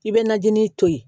I bɛ najini to yen